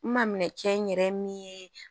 N ma minɛ cɛ n yɛrɛ ye min ye